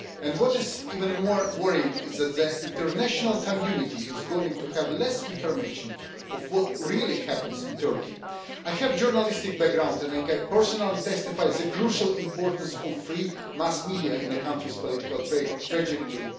What is even more worrying is that the international community is going to have less information on what really happens in Turkey. I have a journalistic background and I can personally testify to the crucial importance of free mass media in a country's political trajectory.